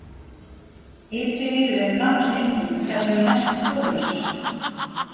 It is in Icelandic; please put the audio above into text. Ytri eyru er nánast engin og þær eru næstum hárlausar.